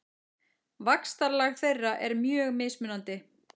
Vaxtarlag þeirra er mjög mismunandi.